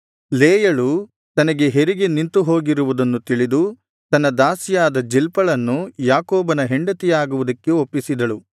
ಲೇಯಳು ತನಗೆ ಹೆರಿಗೆ ನಿಂತುಹೋಗಿರುವುದನ್ನು ತಿಳಿದು ತನ್ನ ದಾಸಿಯಾದ ಜಿಲ್ಪಳನ್ನು ಯಾಕೋಬನ ಹೆಂಡತಿಯಾಗುವುದಕ್ಕೆ ಒಪ್ಪಿಸಿದಳು